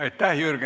Aitäh!